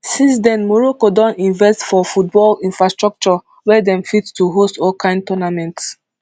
since den morocco don invest for football infrastructure wey dem fit to host all kind tournaments